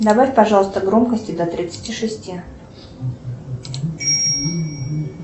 добавь пожалуйста громкости до тридцати шести